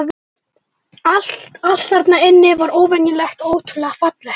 Allt, allt þarna inni var óvenjulegt og ótrúlega fallegt.